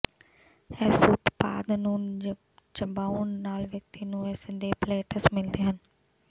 ਇਸ ਉਤਪਾਦ ਨੂੰ ਚਬਾਉਣ ਨਾਲ ਵਿਅਕਤੀ ਨੂੰ ਉਸ ਦੇ ਪਲੈਟਸ ਮਿਲਦੇ ਹਨ